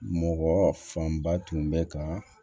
Mɔgɔ fanba tun bɛ ka